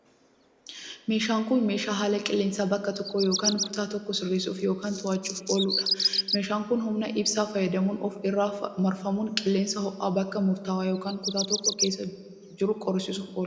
Meeshaan kun, meeshaa haala qilleensaa bakka tokkoo yokin kutaa tokkoo sirreessuuf yokin to'achuuf oolu dha. Meeshaan kun, humna ibsaa fayyadamuun of irra marfamuun, qilleensa ho'aa bakka murta'aa yokin kutaa tokko keessa jiru qorrisiisuuf oola.